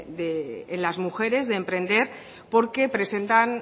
en las mujeres de emprender porque